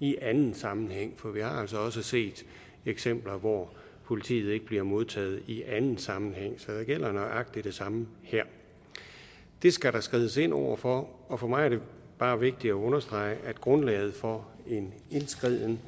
i anden sammenhæng for vi har altså også set eksempler hvor politiet ikke bliver modtaget i anden sammenhæng så der gælder nøjagtig det samme her det skal der skrides ind over for og for mig er det bare vigtigt at understrege at grundlaget for en indskriden